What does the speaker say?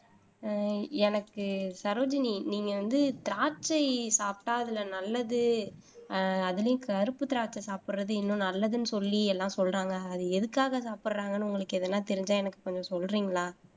ஆஹ் எனக்கு சரோஜினி நீங்க வந்து திராட்சை சாப்பிட்டால் அதுல நல்லது அதுலயும் கருப்பு திராட்சை சாப்பிடுறது இன்னும் நல்லதுன்னு சொல்லி எல்லாம் சொல்றாங்க அது எதுக்காக சாப்பிடுறாங்கன்னு உங்களுக்கு எதுனா தெரிஞ்சா எனக்கு கொஞ்சம் சொல்றீங்களா?